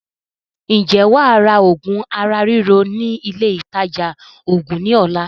Ǹjẹ́ wàá ra oògùn ara ríro ní ilé ìtaja oògùn ní ọ̀la?